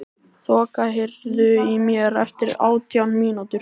Þoka, heyrðu í mér eftir átján mínútur.